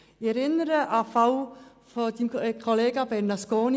Ich erinnere an den Fall Ihres Kollegen Bernasconi.